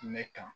Mɛ kan